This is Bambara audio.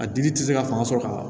A dili tɛ se ka fanga sɔrɔ ka